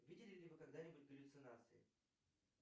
видели ли вы когда нибудь галлюцинации